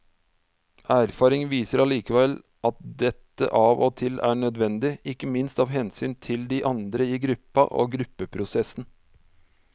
Erfaring viser allikevel at dette av og til er nødvendig, ikke minst av hensyn til de andre i gruppa og gruppeprosessen.